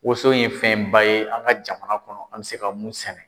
Wonso ye fɛnba ye an ka jamana kɔnɔ an bɛ se ka mun sɛnɛ.